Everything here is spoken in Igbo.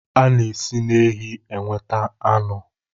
A na-esi na ehi nweta anụ